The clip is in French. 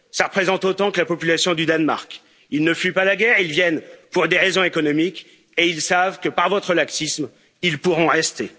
Cela représente autant que la population du Danemark. Ils ne fuient pas la guerre, ils viennent pour des raisons économiques et ils savent que, par votre laxisme, ils pourront rester.